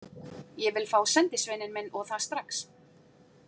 Ég vil fá sendisveininn minn, og það strax.